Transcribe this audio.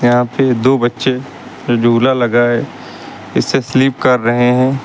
यहां पे दो बच्चे झूला लगा है इससे स्लिप कर रहे हैं।